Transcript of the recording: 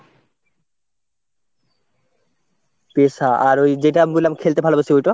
পেশা আর ওই যেটা আমি বললাম খেলতে ভালোবাসি ওইটা?